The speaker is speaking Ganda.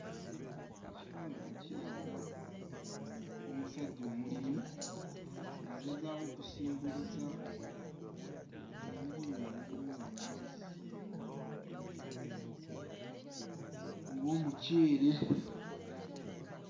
Ekifaananyi kiraga omusajja omulimi ng'agezaako okusimbuliza ebirime ebirimibwa mu mazzi okugeza ng'omuceere.